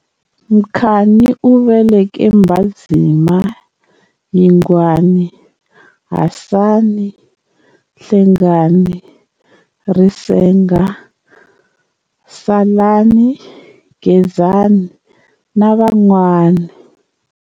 Mkhacani u veleke Mbhazima, Yingwani, Hasani, Nhlengani, Risenga, Salani, Gezani na vanwani.